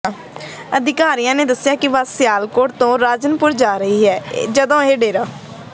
ਅਧਿਕਾਰੀਆਂ ਨੇ ਦੱਸਿਆ ਕਿ ਬੱਸ ਸਿਆਲਕੋਟ ਤੋਂ ਰਾਜਨਪੁਰ ਜਾ ਰਹੀ ਸੀ ਜਦੋਂ ਇਹ ਡੇਰਾ